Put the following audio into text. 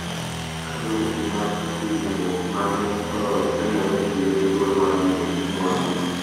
Ka dhoudi mar riwruok mane oloyo nenore ni yudo thuolo mar yudo mwandu,